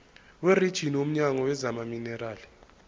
werijini womnyango wezamaminerali